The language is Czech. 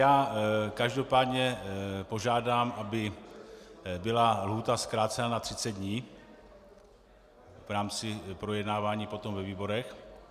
Já každopádně požádám, aby byla lhůta zkrácena na 30 dní v rámci projednávání potom ve výborech.